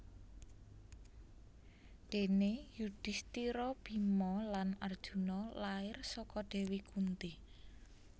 Déné Yudhistira Bima lan Arjuna lair saka Dewi Kunti